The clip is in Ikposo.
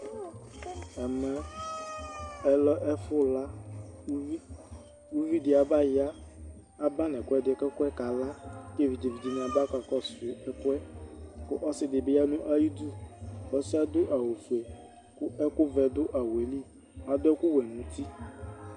Ɛmɛ ɔlɛ ɛfʋ laUvi di aba ya, aba nʋ ɛkʋɛdɩ kʋ ɛkʋɛ ka la; kevidze dɩnɩ aba kakɔsʋ ɛkʋɛKʋ ɔsɩ dɩ bɩ ya nʋ ayidu, ɔsɩɛ adʋ awʋ fue kʋ ɛkʋ vɛ dʋ awʋɛ li, adʋ ɛkʋ wɛ nuti